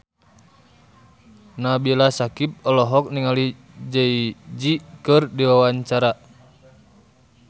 Nabila Syakieb olohok ningali Jay Z keur diwawancara